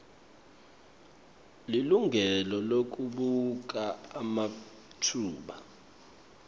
lilungelo lekubuka ematfuba